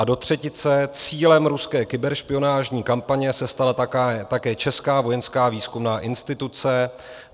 A do třetice: Cílem ruské kyberšpionážní kampaně se stala také česká vojenská výzkumná instituce.